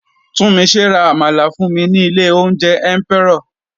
Tunmise ra àmàlà fún mi ní ilé oúnjẹ Emperor.